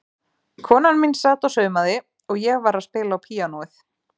Konan mín sat og saumaði og ég var að spila á píanóið.